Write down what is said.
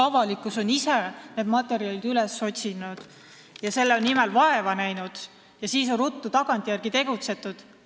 Avalikkus otsis ju ise need materjalid üles, nägi selle nimel vaeva ja tagantjärele on siis ruttu tegutsetud.